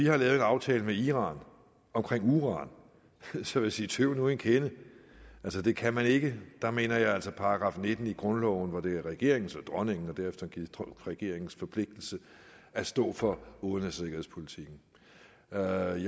havde lavet en aftale med iran om uran sige sige tøv nu en kende altså det kan man ikke der mener jeg altså at § nitten i grundloven hvor det er regeringens og dronningens og derefter regeringens forpligtelse at stå for udenrigs og sikkerhedspolitik træder i